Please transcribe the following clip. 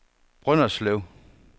Brønderslev